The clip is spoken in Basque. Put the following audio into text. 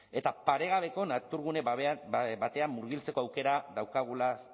eta paregabeko naturgune batean murgiltzeko aukera daukagulaz